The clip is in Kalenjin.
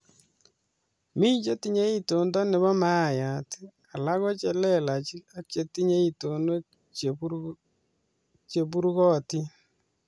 mi chetinyei itondo nebo mayayat, alak ko lelach ak chetinyei itonwek cheburukotin